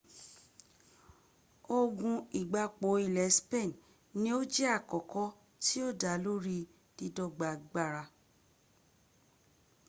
ogun igbapò ilẹ̀ spain ni ó jẹ́ alákọ̀ọ́kọ́ tí yóò dá lórí dídọ́gba agbára